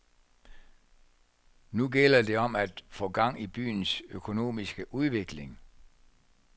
Nu gælder det om at få gang i byens økonomiske udvikling.